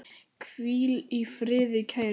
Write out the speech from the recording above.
Hvíl í friði kæri vinur.